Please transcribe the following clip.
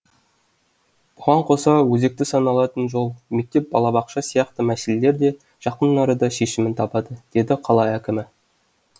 бұған қоса өзекті саналатын жол мектеп балабақша сияқты мәселелер де жақын арада шешімін табады деді қала әкімі